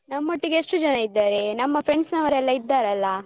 ನಮ್ಮೊಟ್ಟಿಗೆ ಎಷ್ಟು ಜನ ಇದ್ದಾರೆ ನಮ್ಮ friends ನವರೆಲ್ಲ ಇದ್ದಾರಲ್ಲ.